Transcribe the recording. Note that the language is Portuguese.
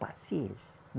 Paciência.